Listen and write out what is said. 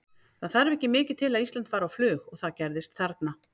Það þarf ekki mikið til að Ísland fari á flug og það gerðist þarna.